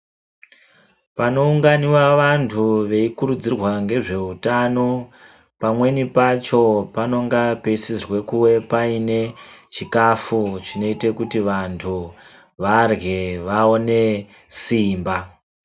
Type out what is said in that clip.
Panounganiwa vantu veyikurudzirwa ngezveutano, pamweni pacho panonga peyisizwe kuwe payine chikafu chinoyita kuti vantu varye vaone simba.